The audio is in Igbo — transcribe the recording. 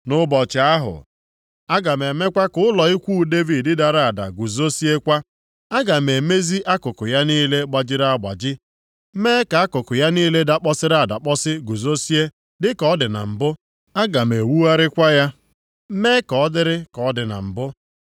“Nʼụbọchị ahụ, “aga m emekwa ka ụlọ ikwu Devid dara ada guzoziekwa. Aga m emezi akụkụ ya niile gbajiri agbaji, mee ka akụkụ ya niile dakpọsịrị adakpọsị guzozie dịka ọ dị na mbụ. Aga m ewugharịkwa ya, mee ka ọ dịrị ka ọ dị na mbụ.